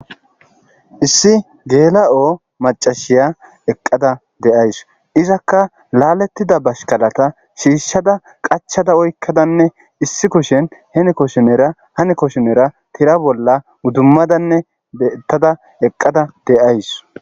Issi geela'oo macashiya eqqada deays izakka laalettida bashkalata shiishshada qachada oykkadanne issi kushen heni koshinera hani koshonera tira bolla uddummadanne bettada eqqada deays